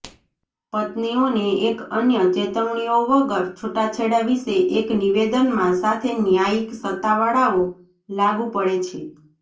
પત્નીઓને એક અન્ય ચેતવણીઓ વગર છૂટાછેડા વિશે એક નિવેદનમાં સાથે ન્યાયિક સત્તાવાળાઓ લાગુ પડે છે